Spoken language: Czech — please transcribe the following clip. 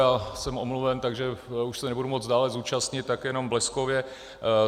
Já jsem omluven, takže už se nebudu moci dále účastnit, tak jenom bleskově.